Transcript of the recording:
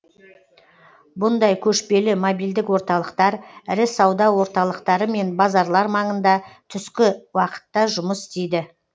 бұндай көшпелі мобильдік орталықтар ірі сауда орталықтары мен базарлар маңында түскі уақытта жұмыс істейді